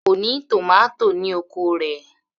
Kò ní tòmátò ní oko rẹ̀